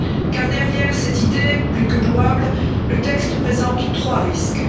car derrière cette idée plus que louable, le texte présente trois risques.